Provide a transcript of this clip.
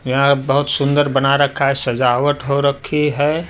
यहां बहुत सुंदर बना रखा है सजावट हो रखी है।